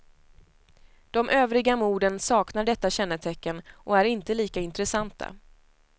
De övriga morden saknar detta kännetecken och är inte lika intressanta.